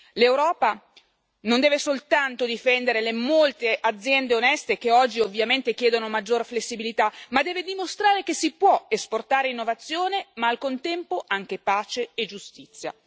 L'Europa non deve soltanto difendere le molte aziende oneste che oggi ovviamente chiedono maggiore flessibilità, ma deve dimostrare che si può esportare innovazione ma, al contempo, anche pace e giustizia.